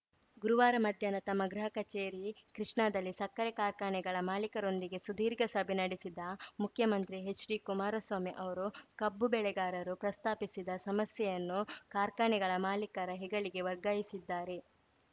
ಗುರುವಾರ ಮಧ್ಯಾಹ್ನ ತಮ್ಮ ಗೃಹ ಕಚೇರಿ ಕೃಷ್ಣಾದಲ್ಲಿ ಸಕ್ಕರೆ ಕಾರ್ಖಾನೆಗಳ ಮಾಲಿಕರೊಂದಿಗೆ ಸುದೀರ್ಘ ಸಭೆ ನಡೆಸಿದ ಮುಖ್ಯಮಂತ್ರಿ ಹೆಚ್‌ಡಿಕುಮಾರಸ್ವಾಮಿ ಅವರು ಕಬ್ಬು ಬೆಳೆಗಾರರು ಪ್ರಸ್ತಾಪಿಸಿದ್ದ ಸಮಸ್ಯೆಯನ್ನು ಕಾರ್ಖಾನೆಗಳ ಮಾಲಿಕರ ಹೆಗಲಿಗೆ ವರ್ಗಾಯಿಸಿದ್ದಾರೆ